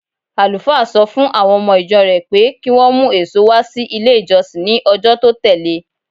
Àlùfáà sọ fún àwọn ọmọ-ìjọ rẹ̀ pé kí wọ́n mú èso wá sí ilé-ìjọsìn ní ọjọ́ tó tẹ̀le.